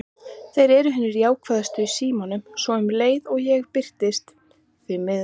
Þeir eru hinir jákvæðustu í símann, svo um leið og ég birtist: því miður.